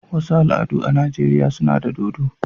wasu al'adu a Najeriya suna da dodo.